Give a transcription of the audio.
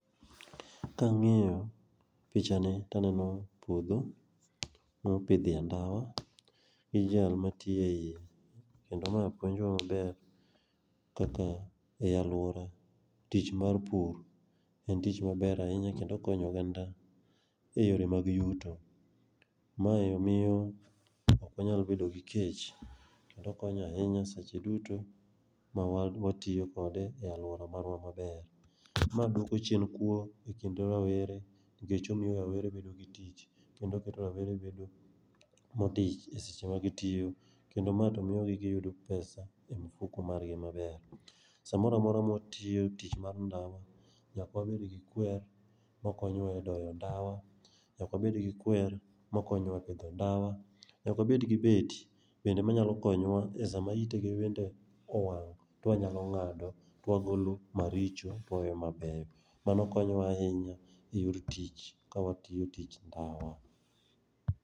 Ka ang'iyo pichani to aneno puodho mopidhie ndawa gi jal matiyo eiye. Kendo mae puonjowa maber kaka ei aluora tich mar pur en tich maber ahinya kendo okonyo oganda eyore mag yuto. Mae miyo ok inyal bedo gi kech kendo okonyo ahinya seche duto ma watiyo kode e aluora marwa maber. Ma duoko chien kuo kendo omiyo rawere bedo gi tich kendo keto gi modich esama gitiyo. Kendo ma to miyogi giyudo pesa e mifuko margi maber samoro amora ma gitiyo tich mar ndawa nyaka wamigi kwer makonowa e doyo ndawa nyaka wabed gi kwer makonyowa e doyo ndawa. Nyaka wabed gi beti bende manyalo konyowa esama itgi bende owang', ka wanyalo ng'ado ka wagolo maricho, waweyo mabeyo. Mano konyowa ahinya eyor tich ka watiyo tich ndawa.